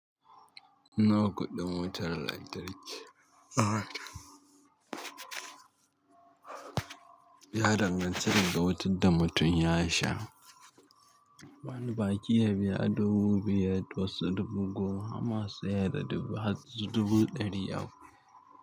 Nawa kuɗin wutar lantarki? Ya danganta da wutan da mutum ya sha. Bani baƙi ya biya dubu biyar da wasu dubu goma masu ya da dubu ɗari uku.